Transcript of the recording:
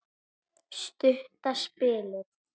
Stutta spilið.